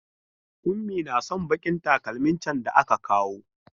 Ummi tana son bakin takalmin can da aka kawo.